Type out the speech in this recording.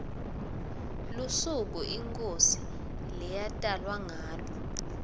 lusuku inkhosi leyatalwa ngalo